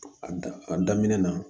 A da a daminɛ na